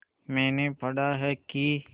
मैंने पढ़ा है कि